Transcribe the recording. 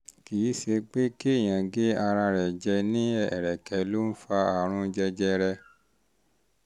kì í ṣe pé kéèyàn gé ara rẹ̀ jẹ ní ẹ̀rẹ̀kẹ́ ló um ń fa àrùn jẹjẹrẹ